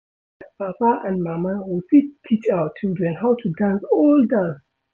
As papa and mama, we fit teach our children how to dance old dance